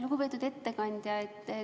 Lugupeetud ettekandja!